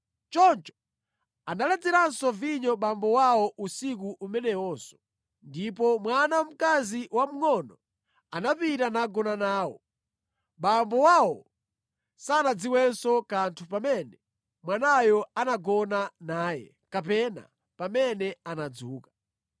Choncho analedzeranso vinyo abambo awo usiku umenewonso, ndipo mwana wamkazi wamngʼono anapita nagona nawo. Abambo awo sanadziwenso kanthu pamene mwanayo anagona naye kapena pamene anadzuka.